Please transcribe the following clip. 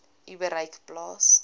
u bereik plaas